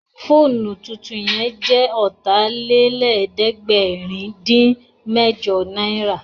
Fóònù tuntun yẹn jẹ́ Ọ̀tàlélẹ̀ẹ́dẹ́gbẹ̀rin-dín-mẹ́jọ náírà